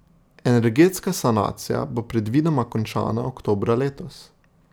Energetska sanacija bo predvidoma končana oktobra letos.